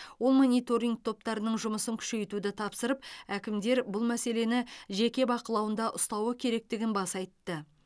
ол мониторинг топтарының жұмысын күшейтуді тапсырып әкімдер бұл мәселені жеке бақылауында ұстауы керектігін баса айтты